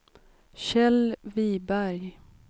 Kjell Wiberg